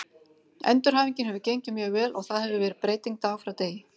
Endurhæfingin hefur gengið mjög vel og það hefur verið breyting dag frá degi.